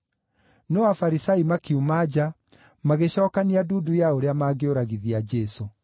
No Afarisai makiuma nja, magĩcookania ndundu ya ũrĩa mangĩũragithia Jesũ.